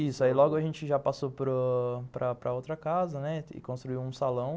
Isso, aí logo a gente já passou para para a outra casa e construiu um salão.